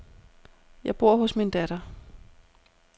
Jeg bor hos min datter.